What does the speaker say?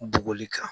Bogoli kan